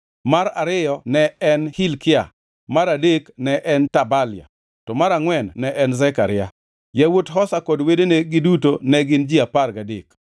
mar ariyo ne en Hilkia, mar adek ne en Tabalia, to mar angʼwen ne en Zekaria. Yawuot Hosa kod wedene giduto ne gin ji apar gadek.